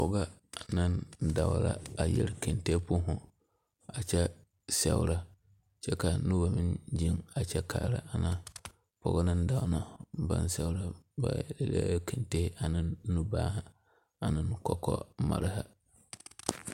pɔge ane dɔɔ la a yɛre kente boma, a kyɛ seɛre kyɛ ka noba. meŋ zeŋ a kyɛ kaara ana pɔge ne dɔɔ ŋa baŋ seɛra, ba eŋɛ Kente ane nubanne ane kɔkɔmare.